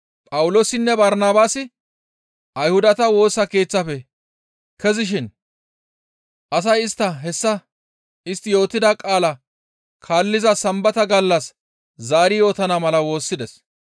Phawuloosinne Barnabaasi Ayhudata Woosa Keeththafe kezishin asay istta hessa istti yootida qaalaa kaalliza Sambata gallas zaari yootana mala woossides.